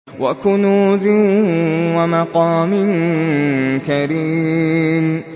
وَكُنُوزٍ وَمَقَامٍ كَرِيمٍ